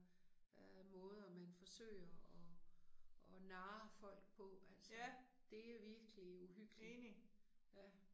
Øh måder man forsøger og og narre folk på altså. Det er virkelig uhyggeligt. Ja